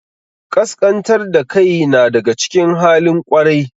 Ƙasƙantar da kai na daga cikin halin ƙwarai.